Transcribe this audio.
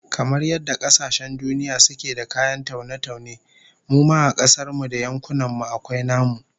Kamar yadda kasashen duniya suke da kayan taune-taune, mu ma a kasar mu da yankunan mu akwai namu